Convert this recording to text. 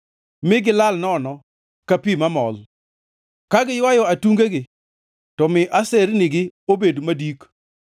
Mi gilal nono ka pi mamol; ka giywayo atungegi to mi asernigi obed madik.